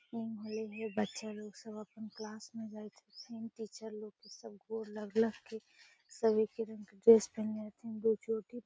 बच्चा लोग सब अपन क्लास में जाए छै सब टीचर लोग के गौर लग लग के सब एके रंग के ड्रेस पहिनले छै दू चोटी --